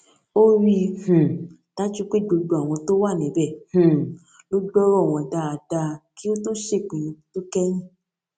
ó rí i um dájú pé gbogbo àwọn tó wà níbè um ló gbórò wọn dáadáa kí ó tó ṣèpinnu tó kẹyìn